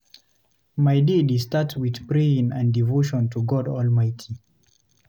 My day dey start with prayer and devotion to God Almighty.